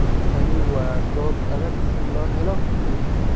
Tani waa goob adag si loo helo guul.